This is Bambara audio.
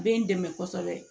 Bɛ n dɛmɛ kosɛbɛ